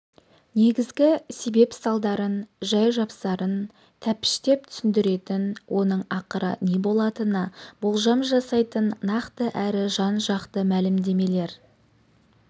негізгі себеп-салдарын жай-жапсарын тәптіштеп түсіндіретін оның ақыры не болатынына болжам жасайтын нақты әрі жан-жақты мәлімдемелер